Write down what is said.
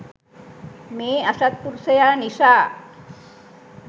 මේ අසත්පුරුෂයා නිසා